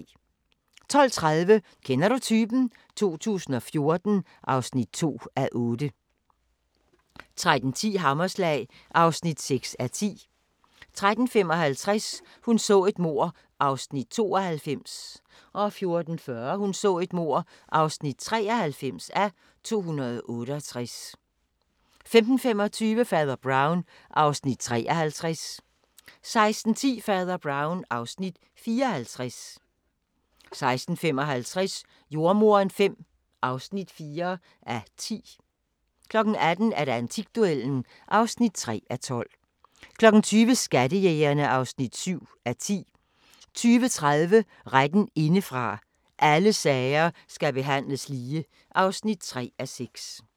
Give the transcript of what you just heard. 12:30: Kender du typen? 2014 (2:8) 13:10: Hammerslag (6:10) 13:55: Hun så et mord (92:268) 14:40: Hun så et mord (93:268) 15:25: Fader Brown (Afs. 53) 16:10: Fader Brown (Afs. 54) 16:55: Jordemoderen V (4:10) 18:00: Antikduellen (3:12) 20:00: Skattejægerne (7:10) 20:30: Retten indefra – Alle sager skal behandles lige (3:6)